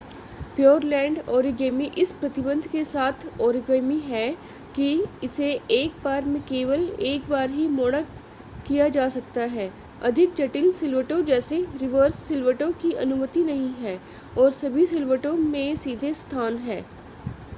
Pureland origami इस प्रतिबंध के साथ ओरिगामी है कि इसे एक बार में केवल एक बार ही मोड़ा किया जा सकता है अधिक जटिल सिलवटों जैसे रिवर्स सिलवटों की अनुमति नहीं है और सभी सिलवटों में सीधे स्थान हैं